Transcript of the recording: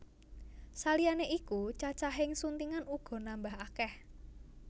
Saliyané iku cacahing suntingan uga nambah akèh